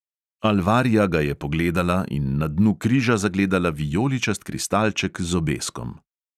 Alvaria ga je pogledala in na dnu križa zagledala vijoličast kristalček z obeskom.